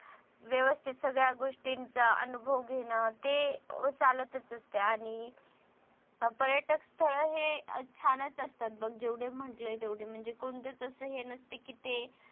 व्यवस्थित सगळ्या गोष्टींचा अनुभव घेणं ते चालतच असते आणि पर्यटक स्थळे हे छानच असतात बघ जेवढं म्हटलंय तेवढं म्हणजे कोणतेच हे नसत कि ते